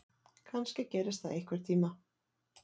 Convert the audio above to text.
Kannski gerist það einhvern tíma.